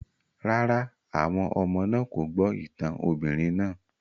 Rárá, àwọn ọmọ náà kò gbọ́ ìtàn obìnrin náà